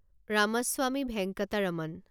Ramaswamy Venkataraman